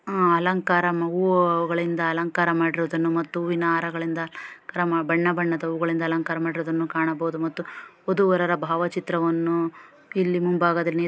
ಅಲಂಕಾರ ಹೂವುಗಳಿಂದ ಅಲಂಕಾರ ಮಾಡಿರುವುದನ್ನು ಮತ್ತು ಹೂವಿನ ಹಾರಗಳಿಂದ ಬಣ್ಣ ಬಣ್ಣ ಹೂಗಳಿಂದ ಅಲಂಕಾರ ಮಾಡಿರುವುದನ್ನು ಕಾಣಬಹುದು ಮತ್ತು ವಧು-ವರರ ಭಾವಚಿತ್ರವನ್ನು ಇಲ್ಲಿ ಮುಂಭಾಗದಲ್ಲಿ --